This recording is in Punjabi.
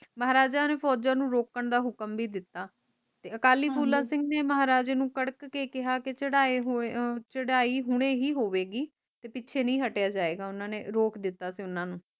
ਮਹਜ ਨੇ ਫੋਜਨੁ ਰੋਕਣ ਦਾ ਹੁਕਮ ਵੀ ਦਿਤਾ ਤੇ ਅਕਾਲੀ ਫੂਲਾ ਸਿੰਘ ਨੇ ਮਹਾਰਾਜੇ ਨੂੰ ਕੜਾਕ ਕੇ ਕਿਹਾ ਕਿ ਚੜਾਏ ਹੋਏ ਚੜਾਈ ਹੁਣੇ ਹੀ ਹੋਵੇਗੀ ਤੇ ਪਿੱਛੇ ਨੀ ਹਟੀਐ ਜਾਵੇਗਾ ਓਹਨਾ ਨੇ ਰੋਕ ਦਿੱਤੋ ਸੀ ਓਹਨਾ ਨੂੰ